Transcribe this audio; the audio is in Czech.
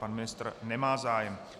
Pan ministr nemá zájem.